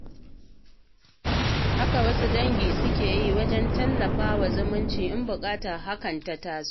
Haka wasu dangi suke yi wajen tallafa wa zumunci in buƙatar hakan ta taso.